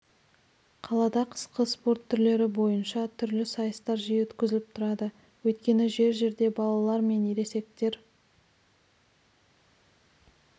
қалада қысқы спорт түрлері бойынша түрлі сайыстар жиі өткізіліп тұрады өйткені жер жерде балалар мен ересектер